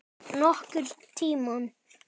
Nokkurn tímann.